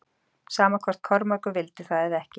Sama hvort Kormákur vildi það eða ekki.